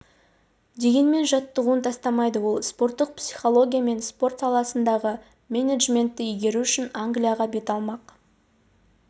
дегенмен жаттығуын тастамайды ол спорттық психология мен спорт саласындағы менеджментті игеру үшін англияға бет алмақ